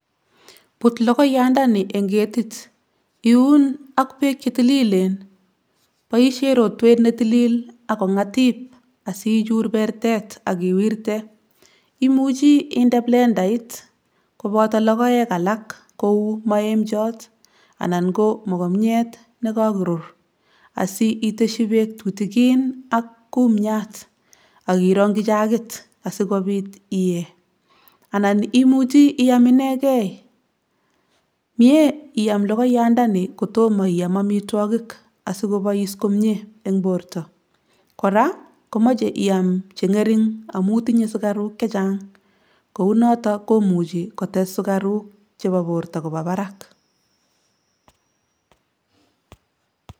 Put logoyandani eng' ketit. Iyun ak beek che tililen boishen rotwet ne tilil ago ng'atip asichuur bertet ak iwirte. Imuchi inde blendait koboto logoek alak kou maemchot anan ko mokomiet ne kagorur. Asiiteshi beek tutigin ak kumiat ak irongi jagit asikopiit iyee anan imuchi iyam inegei. Mie iyam logoiyandani kotomo iyam amitwogik asikopois komie eng' borto. Koraa, komoche iyam che ng'ering amu tinye sugaruk chechang. Kou noton komuchi kotes sugaruk chebo borto kobaa barak.